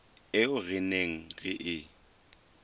eo re neng re e